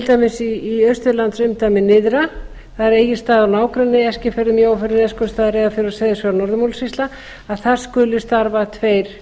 dæmis í austurlandsumdæmi nyrðra það er egilsstaðir og nágrenni eskifjörður mjóifjörður neskaupstað reyðarfjörður seyðisfjörður og norður múlasýslu að þar skuli starfa tveir